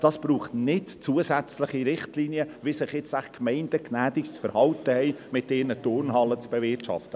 Es braucht nicht zusätzliche Richtlinien, wie sich jetzt die Gemeinden bei der Bewirtschaftung ihrer Turnhallen gnädigerweise zu verhalten haben.